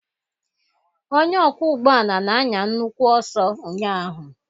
Onye ọkwọ ụgbọala na-anya nnukwu ọsọ ụnyaahụ.